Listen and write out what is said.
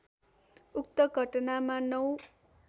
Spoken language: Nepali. उक्त घटनामा ९